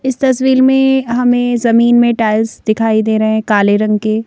इस तस्वीर में हमें जमीन में टाइल्स दिखाई दे रहे हैं काले रंग के।